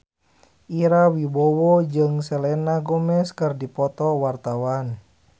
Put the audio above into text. Ira Wibowo jeung Selena Gomez keur dipoto ku wartawan